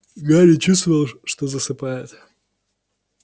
гарри чувствовал что засыпает